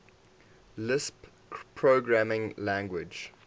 lisp programming language